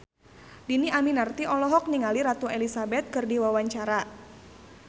Dhini Aminarti olohok ningali Ratu Elizabeth keur diwawancara